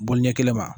Bɔli ɲɛ kelen ma